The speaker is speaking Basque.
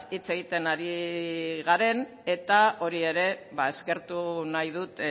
hitz egiten ari garen eta hori ere eskertu nahi dut